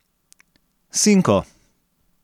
Sinko!